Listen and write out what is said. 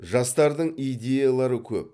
жастардың идеялары көп